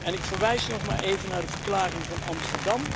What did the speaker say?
En ik verwijs nog maar even naar de Verklaring van Amsterdam